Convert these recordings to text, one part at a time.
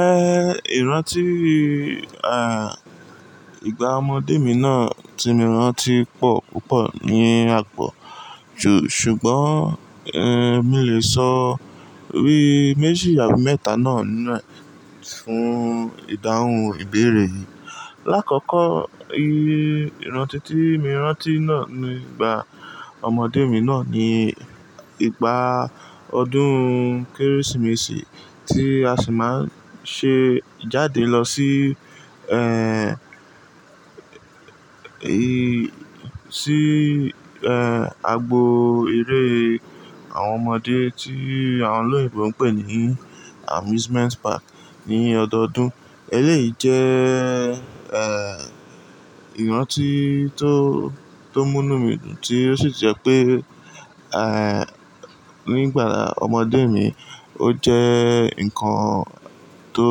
Eh, ìrántí, à, ìgbà ọmọdé mi náà tí mo rántí pọ̀ púpọ̀ ní àpọ̀. Ju-- ṣùgbọ́n, ẹ́, mo lè sọ bi méjì àbí mẹ́ta náà nínu fún ìdáhùn ìbéèrè yìí. Láàkọ́kọ́, i ìrántí tí mo rántí náà ní ìgbà ọmọdé mi náà ni ìgbà ọdún Kérésìmesì tí a sì máa ń ṣe jáde lọ sí, ẹ́, i-- sí, ẹ́, agbo eré àwọn ọmọdé tí àwọn olóyinbo ń pè ní amusement park ní ọdọọdún. Eléyìí jẹ́, ẹ́, ìrántí tó, tó mú inu mi dùn tí ó sì jẹ́ pé, ẹ́, nígbàa ọmọdé mi, ó jẹ́ nǹkan tó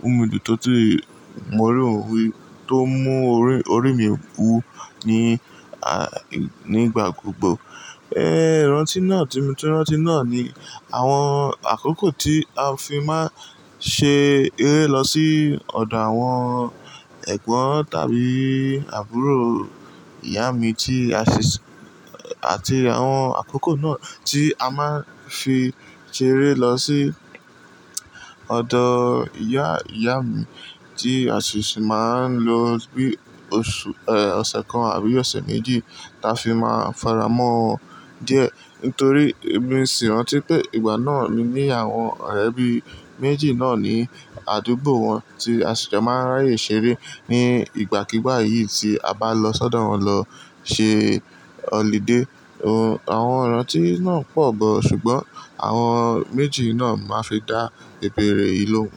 mú mi dùn tó ti mo rí òun rí, tó mú orí, orí mi wú ní, à, nígbà gbogbo. Ẹ́, ìrántí náà tí mo tún rántí náà ni àwọn àkókò tí a fi máa ń ṣe eré lọ sí ọ̀dọ̀ àwọn ẹ̀gbọ́n tàbí àbúrò ìyá mi tí a sì ṣ-- àti àwọn àkókò náà tí a máa ń fi ṣeré lọ sí ọ̀dọ̀ ìyá, ìyá mi tí a sì ṣì máa ń lo bí oṣù, ẹ́, ọ̀sẹ̀ kan àbí ọ̀sẹ̀ méjì táa fi máa ń faramọ́ diẹ. Nítorí èmi sì rántí pé ìgbà náà ni ní àwọn ọ̀rẹ́bí méjì náà ní àdúgbò wọn tí a sì jọ máa ń ráyè ṣeré ní ìgbàkígbà yìí tí a bá lọ sọ́dọ̀ wọn lọ ṣe holiday. Ohun-- àwọn ìrántí náà pọ̀ gan-an ṣùgbọ́n àwọn méjì náà máa ń fi dá ìbéèrè yìí lóhùn.